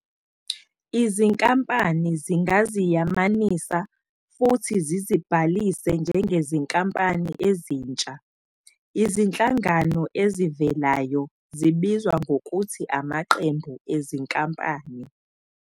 Izinkampani zingaziyamanisa futhi zizibhalise njengezinkampani ezintsha, izinhlangano ezivelayo zibizwa ngokuthi amaqembu ezinkampani.